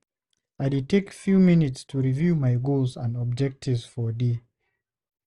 I dey take few minutes to review my goals and objectives for day.